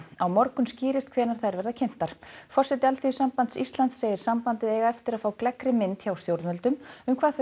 á morgun skýrist hvenær þær verða kynntar forseti Alþýðusambands Íslands segir sambandið eiga eftir að fá gleggri mynd hjá stjórnvöldum um hvað þau